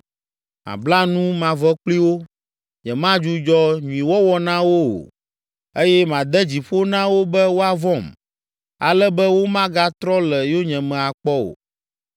Mabla nu mavɔ kpli wo, nyemadzudzɔ nyuiwɔwɔ na wo o eye made dzi ƒo na wo be woavɔ̃m, ale be womagatrɔ le yonyeme akpɔ o.